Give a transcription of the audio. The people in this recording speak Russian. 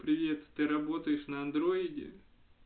привет ты работаешь на андроиде